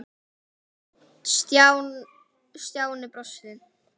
Stjáni brosti.